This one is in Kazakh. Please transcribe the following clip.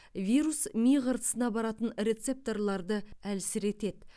вирус ми қыртысына баратын рецепторларды әлсіретеді